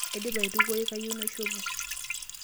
Aidipa aitukuoi, kayieu naishopo.